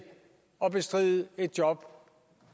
at bestride et job